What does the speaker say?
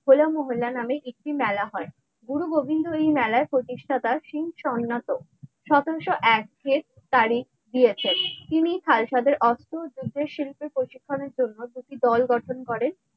হো লা মহল্লা নামে একটি মেলা হয় গুরু গোবিন্দ এই মেলার প্রতিষ্ঠাতা শিংএর সতেরশো এক তারিখ দিয়েছেন তিনি খালসাদের অস্ত্র ও যুদ্ধের শিল্পের প্রশিক্ষণের জন্য দুটি দল গঠন করেন।